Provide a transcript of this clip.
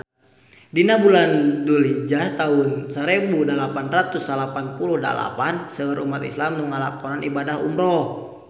Dina bulan Dulhijah taun sarebu salapan ratus salapan puluh dalapan seueur umat islam nu ngalakonan ibadah umrah